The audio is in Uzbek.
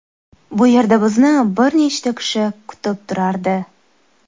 Bu yerda bizni bir necha kishi kutib turardi.